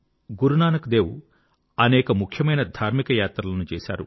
గురునానక్ దేవ్ అనేక ముఖ్యమైన ధార్మిక యాత్రలను చేశారు